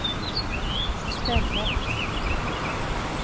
stället